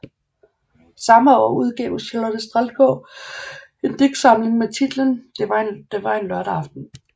Samme år udgav Charlotte Standgaard en digtsamling med titlen Det var en lørdag aften